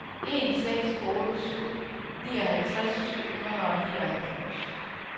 en seks otte syv nioghalvtreds syv hundrede og nioghalvfems